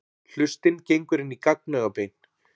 Hlustin gengur inn í gagnaugabein.